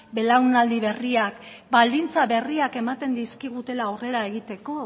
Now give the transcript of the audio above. belaunaldi berriak baldintza berriak ematen dizkigutela aurrera egiteko